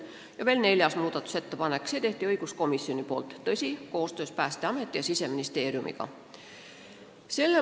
Ja oli veel neljas muudatusettepanek, selle tegi õiguskomisjon koostöös Päästeameti ja Siseministeeriumiga.